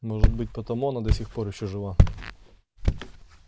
может быть потому она до сих пор ещё жива